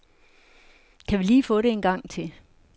Kan vi lige få det en gang til?